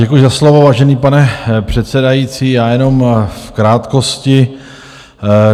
Děkuji za slovo, vážený pane předsedající, já jenom v krátkosti.